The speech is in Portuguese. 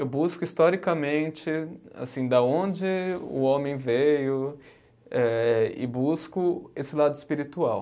Eu busco historicamente assim da onde o homem veio eh e busco esse lado espiritual.